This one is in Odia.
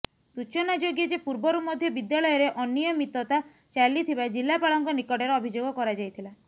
ସୂଚନାଯୋଗ୍ୟ ଯେ ପୂର୍ବରୁ ମଧ୍ୟ ବିଦ୍ୟାଳୟରେ ଅନିୟମିତତା ଚାଲିଥିବା ଜିଲ୍ଲାପାଳଙ୍କ ନିକଟରେ ଅଭିଯୋଗ କରାଯାଇଥିଲା